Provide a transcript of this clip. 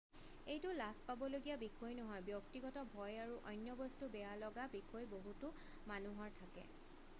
এইটো লাজ পাবলগীয়া বিষয় নহয় ব্যক্তিগত ভয় আৰু অন্য বস্তু বেয়া লগা বিষয় বহুতো মানুহৰ থাকে